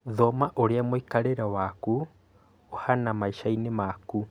Thoma ũrĩa muikarĩre waaku ũhana maicainĩ maku